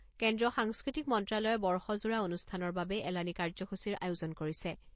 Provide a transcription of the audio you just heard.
কেন্দ্ৰীয় সাংস্কৃতিক মন্ত্ৰ্যালয়ে বৰ্ষজোৰা অনুষ্ঠানৰ বাবে এলানি কাৰ্যসূচীৰ আয়োজন কৰিছে।